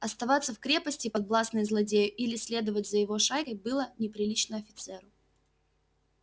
оставаться в крепости подвластной злодею или следовать за его шайкою было неприлично офицеру